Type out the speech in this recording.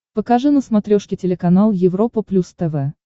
покажи на смотрешке телеканал европа плюс тв